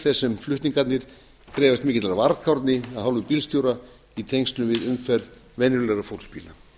þess sem flutningarnir krefjast mikillar varkárni af hálfu bílstjóra í tengslum við umferð venjulegra fólksbíla